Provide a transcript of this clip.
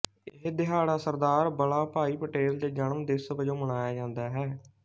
ਇਹ ਦਿਹਾੜਾ ਸਰਦਾਰ ਵਲਾਭਾਈ ਪਟੇਲ ਦੇ ਜਨਮ ਦਿਵਸ ਵਜੋਂ ਮਨਾਇਆ ਜਾਂਦਾ ਹੈ